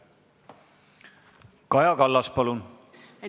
Kaja Kallas, palun!